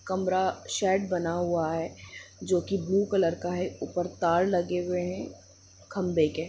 कमरा शेड बना हुआ है जो के ब्लू कलर का है ऊपर तार लगे हुए है खम्बे के।